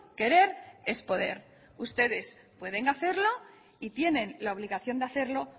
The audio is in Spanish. querer es poder ustedes pueden hacerlo y tienen la obligación de hacerlo